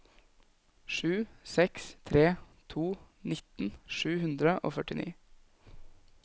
sju seks tre to nitten sju hundre og førtini